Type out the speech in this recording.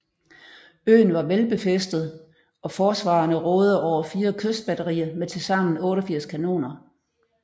Øen var velbefæstet og forsvarerne rådede over fire kystbatterier med tilsammen 88 kanoner